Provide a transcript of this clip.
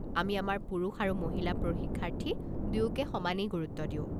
আমি আমাৰ পুৰুষ আৰু মহিলা প্ৰশিক্ষাৰ্থী দুয়োকে সমানেই গুৰুত্ব দিওঁ।